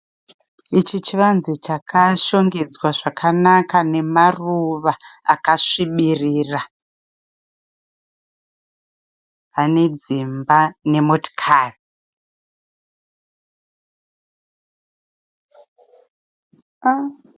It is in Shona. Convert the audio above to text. Ichi chivanze chakashongedzwa zvakanaka nemaruva akasvibirira ane dzimba nemotikari.